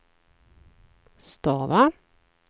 stava